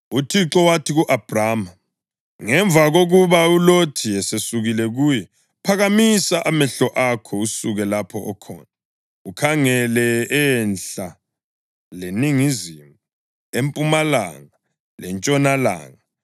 UThixo wathi ku-Abhrama ngemva kokuba uLothi esesukile kuye, “Phakamisa amehlo akho asuke lapho okhona, ukhangele enhla leningizimu, empumalanga lentshonalanga.